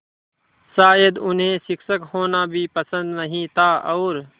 शायद उन्हें शिक्षक होना भी पसंद नहीं था और